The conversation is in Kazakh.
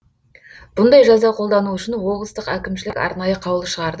бұндай жаза қолдану үшін облыстық әкімшілік арнайы қаулы шығарды